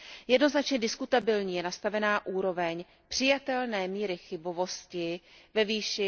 Jednoznačně diskutabilní je nastavená úroveň přijatelné míry chybovosti ve výši